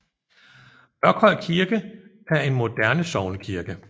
Mørkhøj Kirke er en moderne sognekirke